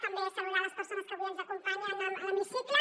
també saludar les persones que avui ens acompanyen a l’hemicicle